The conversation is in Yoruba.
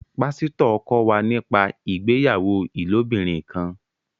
Pasito kọ wá nípa ìgbéyàwó ilobirin kán